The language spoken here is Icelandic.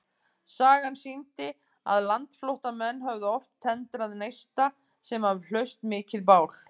Sagan sýndi, að landflótta menn höfðu oft tendrað neista, sem af hlaust mikið bál.